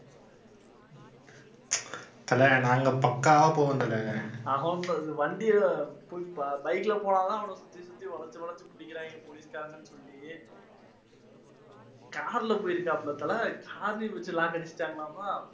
car ல போயிருக்காப்ல தல, car லயே வெச்சு lock அடிச்சுட்டாங்கலாமா